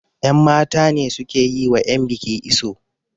yanmata ne suke yi wa yanbiki iso